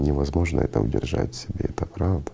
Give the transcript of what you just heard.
невозможно это удержать в себе это правда